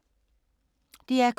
DR K